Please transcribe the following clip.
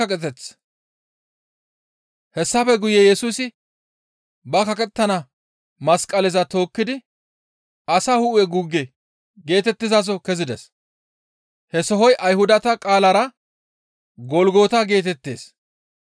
Hessafe guye Yesusi ba kaqettana masqaleza tookkidi, «Asa hu7e guugge» geetettizaso kezides. He sohoy Ayhudata qaalara, «Golgota» geetettees.